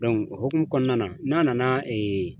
o hokumu kɔnɔna na, n'a nana ee